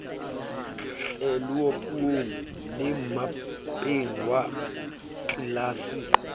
tleloupung le mmapeng wa atlelase